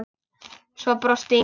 Svo brosti Inga.